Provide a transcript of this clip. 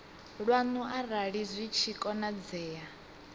lwanu arali zwi tshi konadzea